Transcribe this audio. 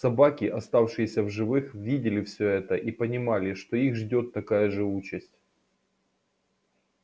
собаки оставшиеся в живых видели всё это и понимали что их ждёт такая же участь